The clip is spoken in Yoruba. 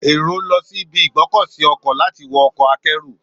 Èrò lọ sí ibi ìgbọ́kọ̀sí ọkọ̀ láti wọ ọkọ̀ akẹ́rù.